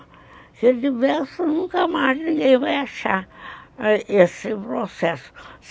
Porque diversos nunca mais ninguém vai achar esse processo.